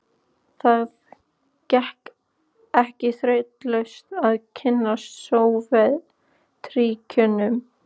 Það gekk ekki þrautalaust að kynnast Sovétríkjunum.